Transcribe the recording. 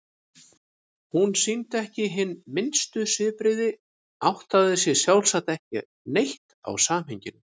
Hún sýndi ekki hin minnstu svipbrigði, áttaði sig sjálfsagt ekki neitt á samhenginu.